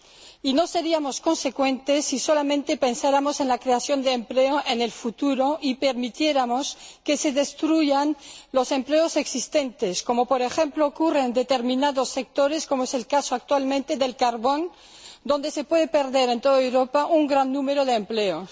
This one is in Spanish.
Y no seríamos consecuentes si solamente pensáramos en la creación de empleo en el futuro y permitiéramos que se destruyeran los empleos existentes, como por ejemplo ocurre en determinados sectores, como es el caso actualmente del carbón, donde se puede perder en toda Europa un gran número de empleos.